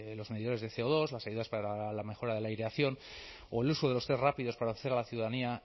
los medidores de ce o dos las ayudas para la mejora de la aireación o el uso de los test rápidos para hacer a la ciudadanía